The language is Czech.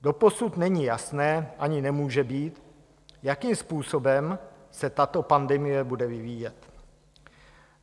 Doposud není jasné, ani nemůže být, jakým způsobem se tato pandemie bude vyvíjet.